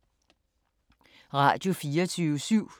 Radio24syv